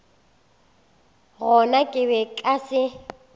gona ke be nka se